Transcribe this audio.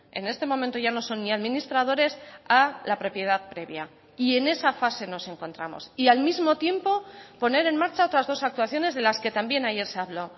en este momento ya no son ni administradores a la propiedad previa y en esa fase nos encontramos y al mismo tiempo poner en marcha otras dos actuaciones de las que también ayer se habló